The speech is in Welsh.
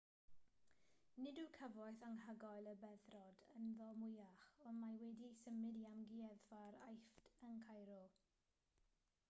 nid yw cyfoeth anhygoel y beddrod ynddo mwyach ond mae wedi'i symud i amgueddfa'r aifft yn cairo